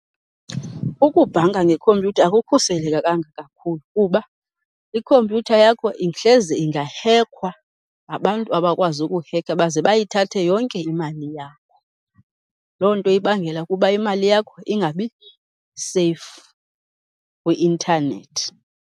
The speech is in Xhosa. Ukubhanka ngekhompyutha akukhuselekekanga kakhulu kuba ikhompyutha yakho hleze ingahekhwa ngabantu abakwazi ukuhekha baze bayithathe yonke imali yakho. Loo nto ibangela ukuba imali yakho ingabi seyifu kwi-intanethi.